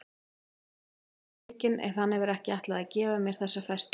Ég er illa svikin ef hann hefur ekki ætlað að gefa mér þessa festi.